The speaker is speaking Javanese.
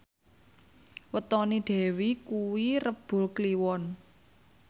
wetone Dewi kuwi Rebo Kliwon